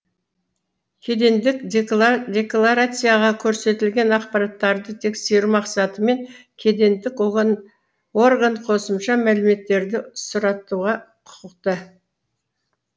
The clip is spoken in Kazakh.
кедендік декларацияда көрсетілген ақпараттарды тексеру мақсатымен кедендік орган косымша мәліметтерді сұратуға құқықты